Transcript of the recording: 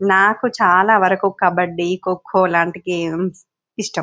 నాకు చాలా న వరకు కబడ్డీ కోకో లాంటి గేమ్స్ ఇష్టం.